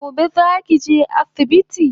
Gobe zaki je asibiti?